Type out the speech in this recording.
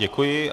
Děkuji.